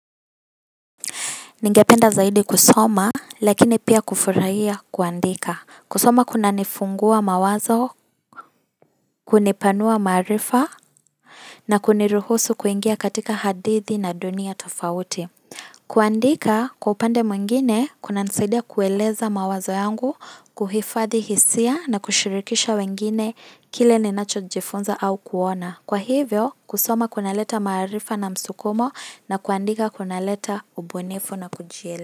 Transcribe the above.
Ningependa zaidi kusoma lakini pia kufurahia kuandika kusoma kunanifungua mawazo, kunipanua maarifa, na kuniruhusu kuingia katika hadithi na dunia tofauti. Kuandika, kwa upande mwingine, kunanisaidia kueleza mawazo yangu, kuhifadhi hisia, na kushirikisha wengine kile ninacho jifunza au kuona. Kwa hivyo, kusoma kunaleta maarifa na msukumo, na kuandika kunaleta ubunifu na kujiele.